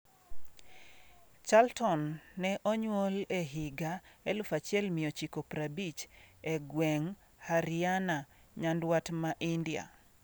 Charlton ne onyuol e higa 1950 e gweng' Haryana, nyanduat ma India.